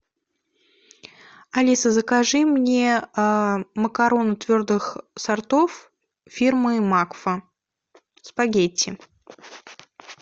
алиса закажи мне макароны твердых сортов фирмы макфа спагетти